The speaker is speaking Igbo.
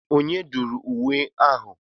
Onye dụrụ nwe ahụ?